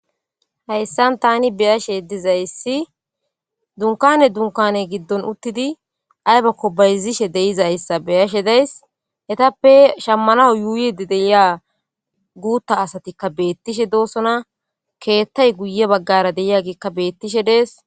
Hayssan tani be7ashe dizaysi dunkane dunkkane giddon uutidi aybakko bayzzishe dizzayssa be7ashe daysi ettape shamanawu yuyidi deiya guta asatika betishe dosona kettay guuye baggaraka dizaysi betishshe dessi.